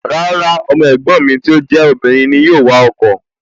Rárá, ọmọ ẹ̀gbọ́n mi tí ó jẹ́ obìnrin ni yóò wa ọkọ̀